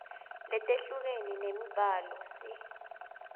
letehlukene temibhalo sib